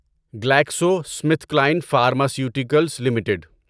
Glaxo Smith Kline Pharmaceuticals limited